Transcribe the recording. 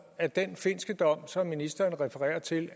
at den finske dom som ministeren refererer til